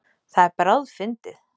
Það er bráðfyndið.